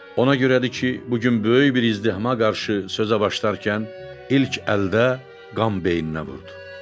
Ona görədir ki, bu gün böyük bir izdihama qarşı sözə başlayarkən ilk əldə qan beyninə vurdu.